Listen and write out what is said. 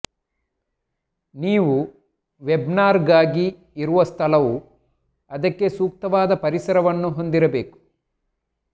ನೀವು ವೆಬ್ನಾರ್ಗಾಗಿ ಇರುವ ಸ್ಥಳವು ಅದಕ್ಕೆ ಸೂಕ್ತವಾದ ಪರಿಸರವನ್ನು ಹೊಂದಿರಬೇಕು